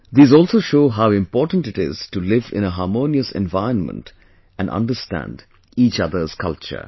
These also show how important it is to live in a harmonious environment and understand each other's culture